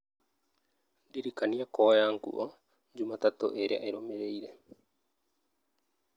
ndĩrikania kuoya nguo jumatatũ ĩrĩa ĩrũmĩrĩire